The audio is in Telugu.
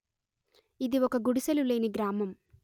ఇది ఒక గుడిసెలు లేని గ్రామం